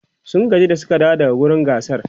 sun gaji da Suka dawo daga wurin gasar